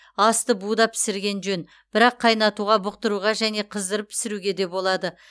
асты буда пісірген жөн бірақ қайнатуға бұқтыруға және қыздырып пісіруге де болады